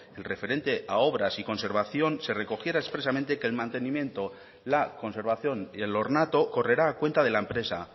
el referente a obras y conservación se recogiera expresamente que el mantenimiento la conservación y el ornato correrá a cuenta de la empresa